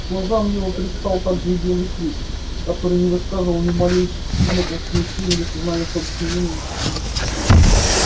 глазам его предстал также и белый клык который не выказывал ни малейших признаков смущения или сознания собственной вины